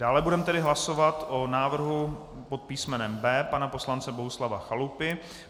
Dále budeme tedy hlasovat o návrhu pod písmenem B pana poslance Bohuslava Chalupy.